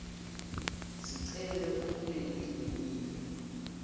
sicelo ukulelinye live